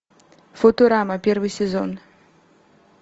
футурама первый сезон